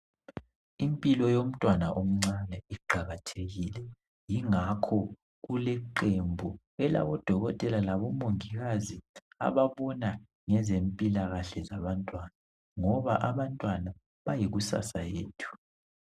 Impilo yomntwana omncane iqakathekile ingakho kule qembu elabo dokotela labomongikazi ababona ngezempilakahle zabantwana ngoba abantwana bayikusasa yethu.